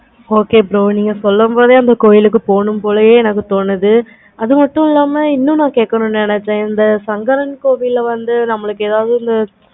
okay bro நீங்க சொல்லும் போதே அந்த கோவிலுக்கு பூணும் போல இருக்குது இது மட்டும் இல்லாம இன்னு கேட்கணும் நினச்சேன். சங்கரன் கோவில்ல வந்து ஏதாவது ஒன்னு